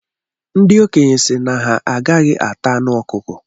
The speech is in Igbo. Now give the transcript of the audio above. Ndị okenye sị na ha agaghị ata anụ ọkụkọ